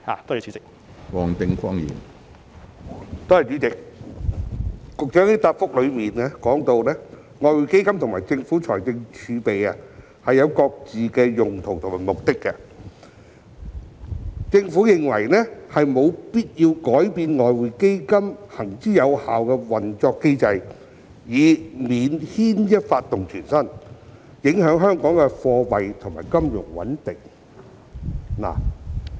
局長在主體答覆中提到外匯基金及政府財政儲備各有其用途和目的，政府認為沒有必要改變外匯基金行之有效的運作機制，以免牽一髮而動全身，影響香港的貨幣和金融穩定。